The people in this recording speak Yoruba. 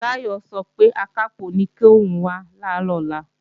Táyọ̀ sọ pé Akápò ní kòun wá làárọ̀ ọ̀la